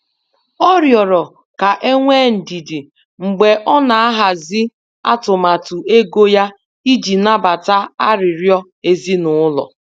Ọ riọrọ ka enwee ndidi mgbe ọ na-ahazi atụmatụ ego ya iji nabata arịriọ ezinụlọ.